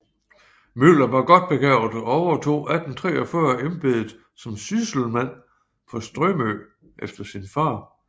Müller var godt begavet og overtog 1843 embedet som sysselmand på Strømø efter sin far